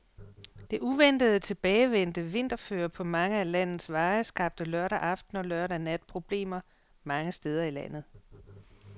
Det uventet tilbagevendte vinterføre på mange af landets veje skabte lørdag aften og lørdag nat problemer mange steder i landet.